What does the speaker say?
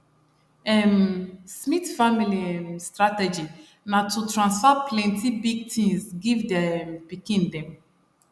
um smith family um strategy na to transfer plenty big things give their um pikin dem